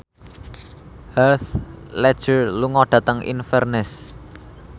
Heath Ledger lunga dhateng Inverness